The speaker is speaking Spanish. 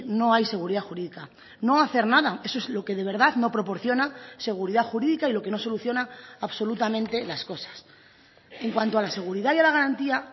no hay seguridad jurídica no hacer nada eso es lo que de verdad no proporciona seguridad jurídica y lo que no soluciona absolutamente las cosas en cuanto a la seguridad y a la garantía